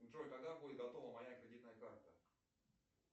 джой когда будет готова моя кредитная карта